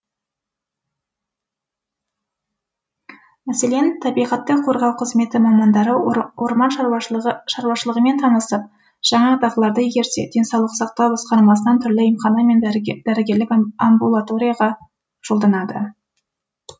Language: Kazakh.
мәселен табиғатты қорғау қызметі мамандары орман шаруашылығымен танысып жаңа дағдыларды игерсе денсаулық сақтау басқармасынан түрлі емхана мен дәрігерлік амбулаторияға жолданады